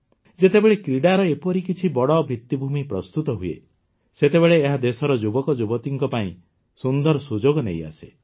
ଯେତେବେଳେ କ୍ରୀଡ଼ାର ଏପରି କିଛି ବଡ଼ ଭିତ୍ତିଭୂମି ପ୍ରସ୍ତୁତ ହୁଏ ସେତେବେଳେ ଏହା ଦେଶର ଯୁବକଯୁବତୀଙ୍କ ପାଇଁ ସୁନ୍ଦର ସୁଯୋଗ ନେଇ ଆସେ